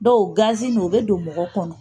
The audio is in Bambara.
Dɔw gazi ninnu u bɛ don mɔgɔ kɔnɔ!